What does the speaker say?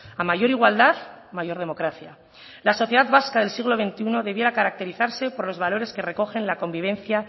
a mayor igualdad mayor democracia la sociedad vasca del siglo veintiuno debiera caracterizarse por los valores que recogen la convivencia